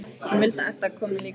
Hann vill að Edda komi líka með.